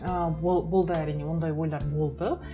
ы болды әрине ондай ойлар болды